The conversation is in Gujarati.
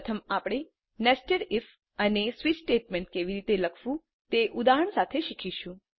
પ્રથમ આપણે નેસ્ટેડ ઇફ અને સ્વિચ સ્ટેટમેન્ટને કેવી રીતે લખવું તે ઉદાહરણ સાથે શીખીશું